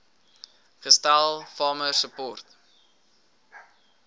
gestel farmer support